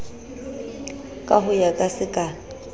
ka ho ya ka sekala